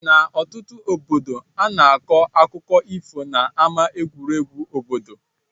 N' ọtụtụ obodo ana akọ akụkọ ifo na ama egwuregwu obodo.